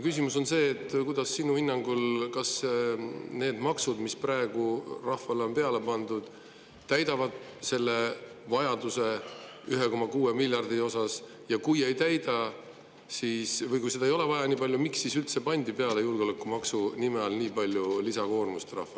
Küsimus on see, kas sinu hinnangul need maksud, mis praegu rahvale on peale pandud, täidavad selle 1,6 miljardi suuruse vajaduse, ja kui ei täida, või kui seda ei ole nii palju vaja, miks siis üldse pandi rahvale julgeolekumaksu nime all nii suur lisakoormus peale.